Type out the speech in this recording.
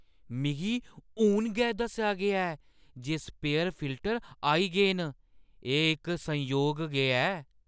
मिगी हून गै दस्सेआ गेआ ऐ जे स्पेयर फिल्टर आई गे न। एह् इक संयोग गै ऐ ।